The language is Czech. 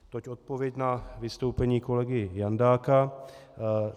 Toť odpověď na vystoupení kolegy Jandáka.